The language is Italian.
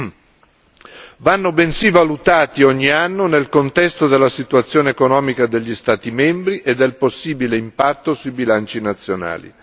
Essi vanno bensì valutati ogni anno nel contesto della situazione economica degli Stati membri e del possibile impatto sui bilanci nazionali.